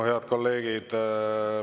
Head kolleegid!